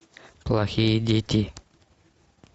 плохие дети